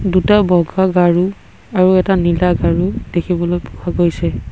দুটা বগা গাৰু আৰু এটা নীলা গাৰু দেখিবলৈ পোৱা গৈছে।